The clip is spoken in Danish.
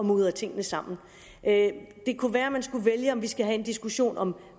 mudre tingene sammen det kunne være man skulle vælge om vi skal have en diskussion om